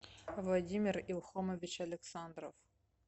владимир илхомович александров